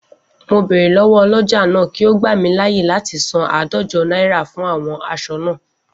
Mo bèrè lọ́wọ́ ọlọ́jà náà kí ó gbà mí láyè láti san áàdójo náírà fún àwon aṣọ naa